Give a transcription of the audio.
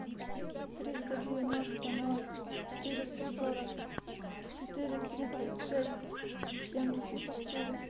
триста девяносто ноль четыреста сорок четыре тридцать шесть семьдесят четыре